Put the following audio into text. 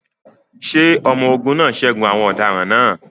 Ṣé àwọn ọmọ-ogun náà ṣẹ́gun àwọn ọ̀daràn náà?